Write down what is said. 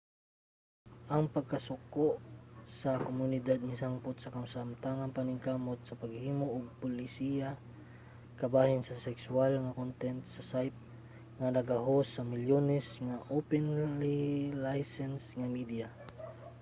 ang pagkasuko sa komunidad misangpot sa kasamtangang paningkamot sa paghimo og polisiya bahin sa sekswal nga content sa site nga naga-host sa milyones ka openly-licensed nga media